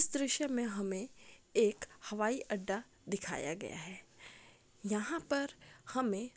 इस दृश्य में हमें एक हवाई अड्डा दिखाया गया है। यहाँ पर हमें